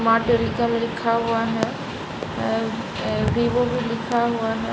माटेलिकल लिखा हुआ है ये अ भीभो भी लिखा हुआ है।